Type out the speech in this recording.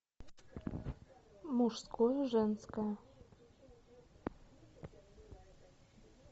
мужское женское